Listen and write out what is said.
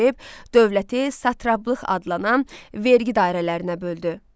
dövləti Satraplıq adlanan vergi dairələrinə böldü.